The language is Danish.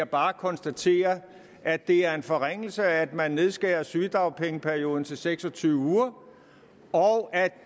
bare konstatere at det er en forringelse at man nedskærer sygedagpengeperioden til seks og tyve uger og at